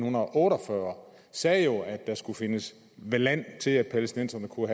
otte og fyrre sagde jo at der skulle findes land til at palæstinenserne kunne